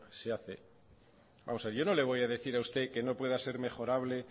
se hace vamos a ver yo no le voy a decir a usted que no pueda ser mejorable